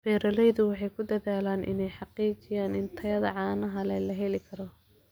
Beeraleydu waxay ku dadaalaan inay xaqiijiyaan in tayada caanaha la heli karo.